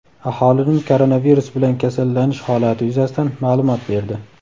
aholining koronavirus bilan kasallanish holati yuzasidan ma’lumot berdi.